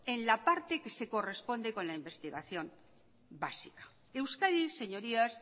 en la parte que se corresponde con la investigación básica euskadi señorías